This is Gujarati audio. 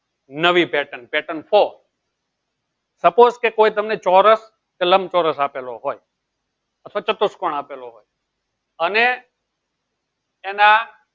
નવી pattern pattern four suppose કે કોઈ તમને ચોરસ કે લંબચોરસ આપેલો હોય અથવા ચતુષ્કોણ આપેલો હોય. અને એના